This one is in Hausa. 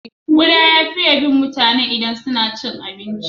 Kuda ya fiye bin mutane idan suna cin abinci.